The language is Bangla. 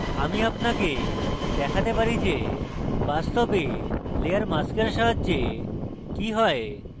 আমি আপনাকে দেখতে পারি যে বাস্তবে layer mask সাহায্যে কি হয়